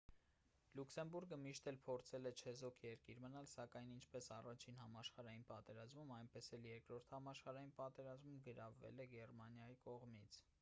լյուքսեմբուրգը միշտ էլ փորձել է չեզոք երկիր մնալ սակայն ինչպես i-ին համաշխարհային պատերազմում այնպես էլ ii-րդ համաշխարհային պատերազմում գրավվել է գերմանիայի կողմից: